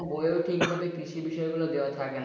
বই এও ঠিক মানে কৃষি বিষয় গুলো ঠিক দেওয়া থাকে না।